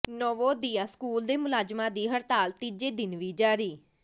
Navodaya school ਦੇ ਮੁਲਾਜ਼ਮਾਂ ਦੀ ਹੜਤਾਲ ਤੀਜੇ ਦਿਨ ਵੀ ਜਾਰੀ